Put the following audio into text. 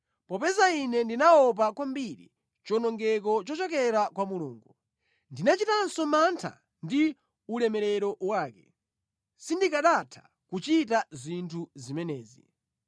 Popeza ine ndinaopa kwambiri chiwonongeko chochokera kwa Mulungu, ndinachitanso mantha ndi ulemerero wake, sindikanatha kuchita zinthu zimenezi.